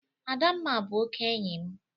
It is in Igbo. Adamma bụ oke enyi m.